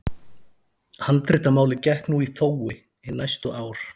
Handritamálið gekk nú í þófi hin næstu ár.